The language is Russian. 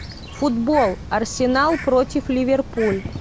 футбол арсенал против ливерпуль